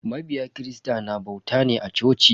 Mabiya kirista na bauta ne a coci.